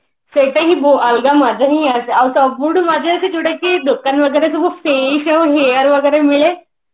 ସେଇଟା ହିଁ ଅଲଗା ମଜା ହିଁ ଆସେ ଆଉ ସବୁଠୁ ମଜା ଆସେ ଯୋଉଟା କି ଦୋକାନ ମାନଙ୍କରେ ସବୁ face ଆଉ hair ମିଳେ